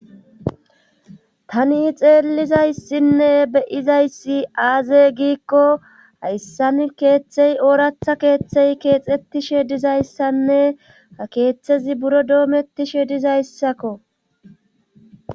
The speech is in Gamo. tani xeellizayssinne beyizayssi aaze giikko hayssan keeththey ooratha keeththey keexettishe dizayssanne a keeththezi buro doomettishe dizayssakko